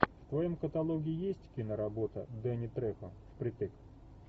в твоем каталоге есть киноработа дэнни трехо впритык